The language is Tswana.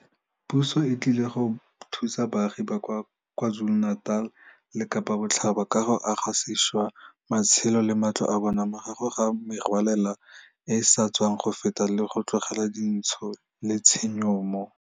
Puso e tlile go thusa baagi ba kwa KwaZulu-Natal le Kapa Botlhaba ka go aga sešwa matshelo le matlo a bona morago ga merwalela e e sa tswang go feta le go tlogela dintsho le tshenyo mo